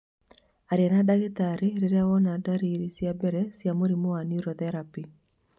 Aria na ndagĩtarĩ rĩrĩa wona ndarĩrĩ cia mbere cia mũrimũ wa niurotherapĩ